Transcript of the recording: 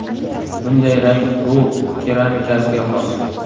Bunday rang Ru keramikasiga xos.